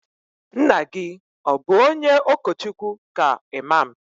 Nna gi o bu onye okochukwu ka imam?